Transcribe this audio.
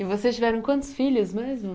E vocês tiveram quantos filhos mesmo?